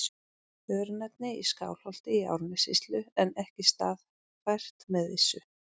Örnefni í Skálholti í Árnessýslu en ekki staðfært með vissu.